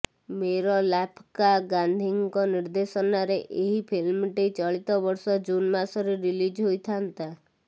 ମେରଲାପ୍କା ଗାନ୍ଧୀଙ୍କ ନିର୍ଦ୍ଦେଶନାରେ ଏହି ଫିଲ୍ମଟି ଚଳିତବର୍ଷ ଜୁନ ମାସରେ ରିଲିଜ ହୋଇଥାନ୍ତା